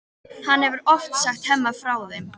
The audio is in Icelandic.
Hann hefur oft sagt Hemma frá þeim.